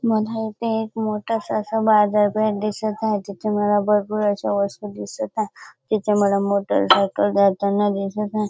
मला इथे एक मोठासा असा बाजारपेठ दिसत आहे तिथे मला भरपूर अशा वस्तू दिसत आहे तिथे मला मोटरसायकल जाताना दिसत आहे.